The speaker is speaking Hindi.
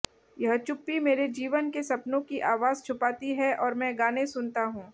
यह चुप्पी मेरे जीवन के सपनों की आवाज छुपाती है और मैं गाने सुनता हूं